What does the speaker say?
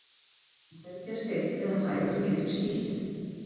En hvergi er steinn eða hæð sem getur skýlt.